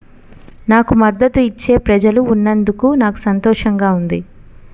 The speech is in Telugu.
నాకు మద్దతు ఇచ్చే ప్రజలు ఉన్నందకు నాకు సంతోషంగా ఉంది